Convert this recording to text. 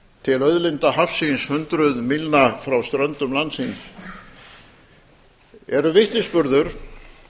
til auðlinda hafsins hundruð mílna frá ströndum landsins er vitnisburður